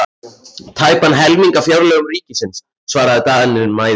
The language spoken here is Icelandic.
Tæpan helming af fjárlögum ríkisins, svaraði Daninn mæðulega.